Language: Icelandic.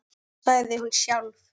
Það sagði hún sjálf.